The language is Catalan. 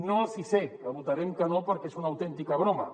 no el sisè que hi votarem que no perquè és una autèntica bro·ma